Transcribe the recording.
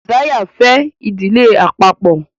Josiah fè Ìdílé àpapo.